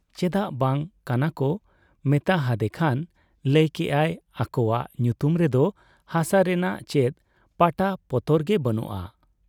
ᱪᱮᱫᱟᱜ ᱵᱟᱝ ᱠᱟᱱᱟᱠᱚ ᱢᱮᱛᱟ ᱦᱟᱫᱮ ᱠᱷᱟᱱ ᱞᱟᱹᱭ ᱠᱮᱜ ᱟᱭ ᱟᱠᱚᱣᱟᱜ ᱧᱩᱛᱩᱢ ᱨᱮᱫᱚ ᱦᱟᱥᱟ ᱨᱮᱱᱟᱜ ᱪᱮᱫ ᱯᱟᱴᱟᱯᱚᱛᱚᱨ ᱜᱮ ᱵᱟᱹᱱᱩᱜ ᱟ ᱾